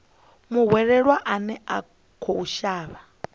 muhwelelwa ane a khou shavha